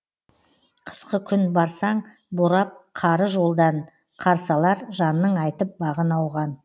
қысқы күн барсаң борап қары жолдан қарсы алар жанның айтып бағын ауған